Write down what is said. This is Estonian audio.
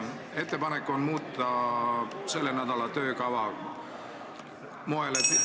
Jaa, ettepanek on muuta selle nädala töökava moel, et ...